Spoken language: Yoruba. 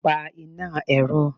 pa iná erò!